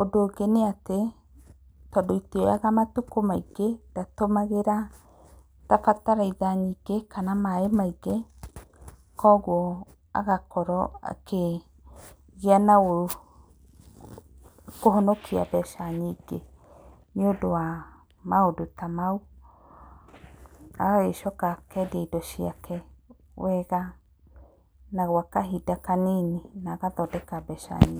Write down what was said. Ũndũ ũngĩ nĩatĩ tondũ itioyaga matukũ maingĩ ndatũmagĩra ta bataraitha nyingĩ kana maĩ maingĩ, kuoguo agakorwo akĩgĩa na kũhonokia mbeca nyingĩ nĩũndũ wa maũndũ ta mau, agagĩcoka akendia indo ciake wega na gwa kahinda kanini na agathondeka mbeca nyingĩ.